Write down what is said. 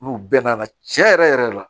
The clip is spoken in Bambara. N'u bɛnna a la tiɲɛ yɛrɛ yɛrɛ la